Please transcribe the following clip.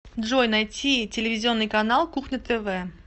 джой найти телевизионный канал кухня тв